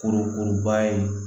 Kurukuruba ye